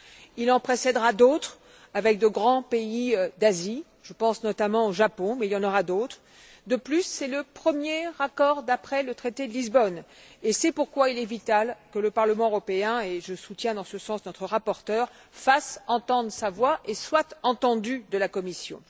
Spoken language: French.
Il en précèdera d'autres avec de grands pays d'Asie je pense notamment au Japon, mais il y en aura d'autres. De plus, c'est le premier accord établi après le traité de Lisbonne, et il est donc vital que le Parlement européen et je soutiens dans ce sens notre rapporteur fasse entendre sa voix et soit entendu par la Commission.